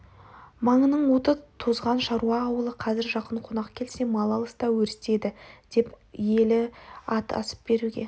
маңының оты тозған шаруа ауылы қазір жақын қонақ келсе мал алыста өрісте еді деп өлі ет асып беруге